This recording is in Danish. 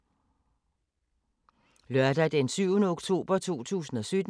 Lørdag d. 7. oktober 2017